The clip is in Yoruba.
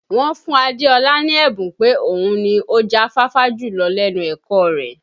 Wọ́n fún Adéọlá ní ẹ̀bùn pé òun ni ó já fáfá jùlọ lẹ́nu ẹ̀kọ́ ọ rẹ̀